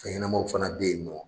Fɛn ɲɛnamaw fana be yen nɔ